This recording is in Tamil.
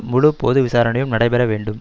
முழு பொது விசாரணையும் நடைபெற வேண்டும்